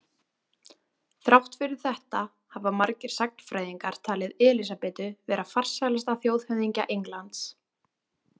Þrátt fyrir þetta hafa margir sagnfræðingar talið Elísabetu vera farsælasta þjóðhöfðingja Englands.